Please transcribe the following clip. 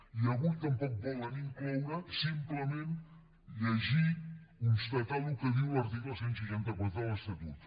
i avui tampoc volen incloure simplement llegir constatar el que diu l’article cent i seixanta quatre de l’estatut